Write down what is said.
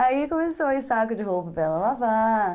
Aí começou a ir saco de roupa para ela lavar.